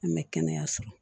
An bɛ kɛnɛyaso